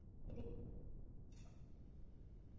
Gosið á Heimaey.